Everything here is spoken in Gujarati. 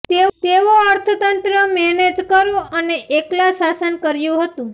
તેઓ અર્થતંત્ર મેનેજ કરો અને એકલા શાસન કર્યું હતું